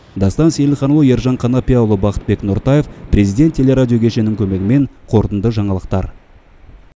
дастан сейілханұлы ержан қанапияұлы бақытбек нұртаев президент телерадио кешенінің көмегімен қорытынды жаңалықтар